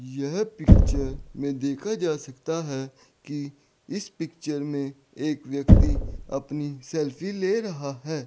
यह पिक्चर में देखा जा सकता है कि इस पिक्चर में एक व्यक्ति अपनी सेल्फी ले रहा है।